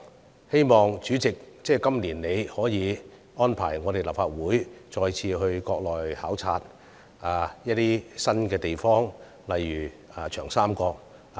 主席，希望你今年再次安排立法會議員到國內考察一些新地方，例如長江三角洲。